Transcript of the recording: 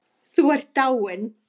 Þú ert dáinn.